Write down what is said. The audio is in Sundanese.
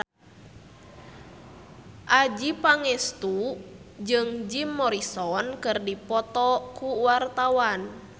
Adjie Pangestu jeung Jim Morrison keur dipoto ku wartawan